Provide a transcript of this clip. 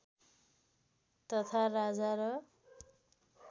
तथा राजा र